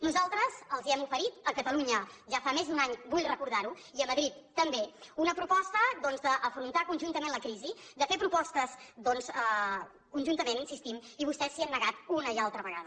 nosaltres els hem oferit a catalunya ja fa més d’un any vull recordar ho i a madrid també una proposta d’afrontar conjuntament la crisi de fer propostes conjuntament hi insistim i vostès s’hi han negat una i altra vegada